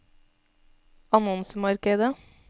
annonsemarkedet